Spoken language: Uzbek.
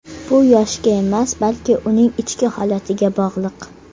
Bu yoshga emas, balki uning ichki holatiga bog‘liq.